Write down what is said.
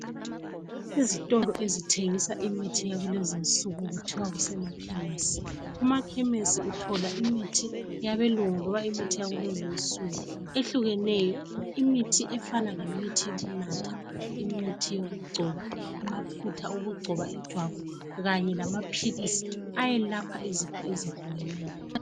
Izitolo ezithengisa imithi yakulezinsuku kuthiwa kusemakhemesi. Emakhemesi uthola imithi yabelungu loba imithi yakulezinsuku ehlukeneyo, imithi efana lemithi yokunatha, imithi yokugcoba, amafutha okugcoba ijwabu, kanye lamaphilisi ayelapha izifo ezehlukeneyo.